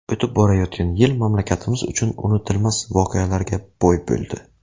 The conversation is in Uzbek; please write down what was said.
O‘tib borayotgan yil mamlakatimiz uchun unutilmas voqealarga boy bo‘ldi.